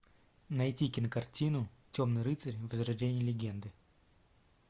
найти кинокартину темный рыцарь возрождение легенды